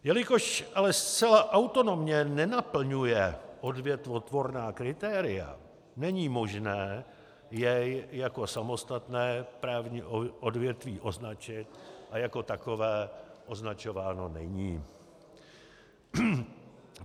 Jelikož ale zcela autonomně nenaplňuje odvětvotvorná kritéria, není možné jej jako samostatné právní odvětví označit a jako takové označováno není.